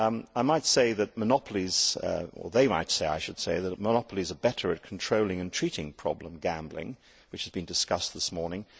I might say that monopolies or they might say I should say that monopolies are better at controlling and treating the problem of gambling which has been discussed this morning.